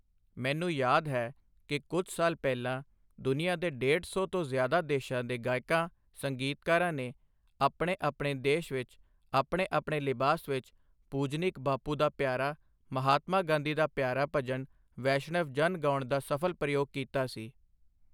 ਮੈਨੂੰ ਯਾਦ ਹੈ ਕਿ ਕੁਝ ਸਾਲ ਪਹਿਲਾਂ ਦੁਨੀਆ ਦੇ ਡੇਢ ਸੌ ਤੋਂ ਜ਼ਿਆਦਾ ਦੇਸ਼ਾਂ ਦੇ ਗਾਇਕਾਂ, ਸੰਗੀਤਕਾਰਾਂ ਨੇ ਆਪਣੇ ਆਪਣੇ ਦੇਸ਼ ਵਿੱਚ ਆਪਣੇ ਆਪਣੇ ਲਿਬਾਸ ਵਿੱਚ ਪੂਜਨੀਕ ਬਾਪੂ ਦਾ ਪਿਆਰਾ, ਮਹਾਤਮਾ ਗਾਂਧੀ ਦਾ ਪਿਆਰਾ ਭਜਨ ਵੈਸ਼ਣਵ ਜਨ ਗਾਉਣ ਦਾ ਸਫ਼ਲ ਪ੍ਰਯੋਗ ਕੀਤਾ ਸੀ।